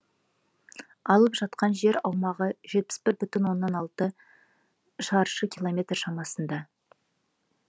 алып жатқан жер аумағы жетпіс бір бүтін оннан алты шаршы километр шамасында